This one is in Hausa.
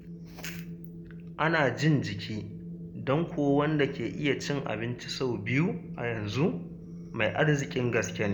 Ana jin jiki don kuwa wanda ke iya cin abinci sau biyu a yanzu mai arziƙin gaske ne.